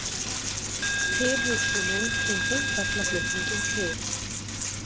Tilhugsunin um búferlaflutninginn til